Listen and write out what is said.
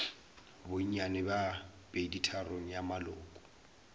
bonnyane bja peditharong ya maloko